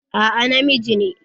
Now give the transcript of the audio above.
A'a, na miji ne